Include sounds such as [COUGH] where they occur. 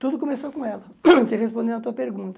Tudo começou com ela, [COUGHS] ter respondido a tua pergunta.